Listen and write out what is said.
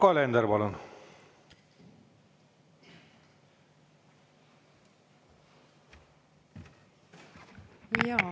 Yoko Alender, palun!